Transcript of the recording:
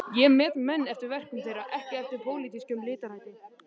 Ég met menn eftir verkum þeirra, ekki eftir pólitískum litarhætti.